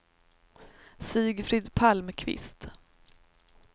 Sigfrid Palmqvist